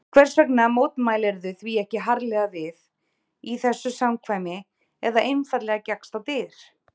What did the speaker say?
Hvers vegna mótmæltirðu því ekki harðlega við, í þessu samkvæmi eða einfaldlega gekkst á dyr?